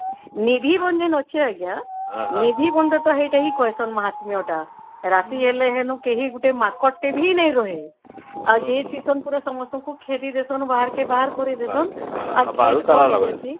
ନିଭି ଭଂଜନ ଅଛି ଆଂଜ୍ଞା ନିଭି ସେଟା କହିସନ ମାହାତ୍ମ୍ୟ ଟା ରାତି ହେଲେ ଵେନୁ କେହି ନାହିଁ ମାଙ୍କଡ଼ ଟେ ବି ନାଇଁ ରହେ ଆଉ ଯେ କେହି ବି ଖେଦି ଦେଇସନ ବାହାରକେ ବାହାର କରିଦେଇସନ